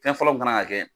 Fɛn fɔlɔ min kan ka kɛ